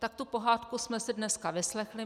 Tak tu pohádku jsme si dneska vyslechli.